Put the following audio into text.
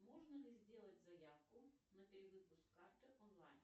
можно ли сделать заявку на перевыпуск карты онлайн